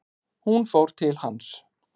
Hún fór til hans.